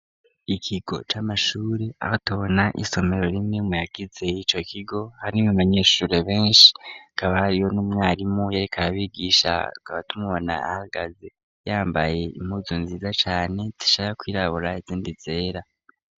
Ikigo c'amashure aho tubona isomero rimwe mu yagize y'ico kigo harimwo abanyeshure benshi hakaba haariyo n'umwarimu yereka bigisha tukaba tumubona ahagaze yambaye impuzu nziza cane zishaka kwirabura nizindi zera.